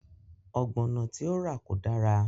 Ọ̀gbọ̀nọ̀ tí ó rà kò dára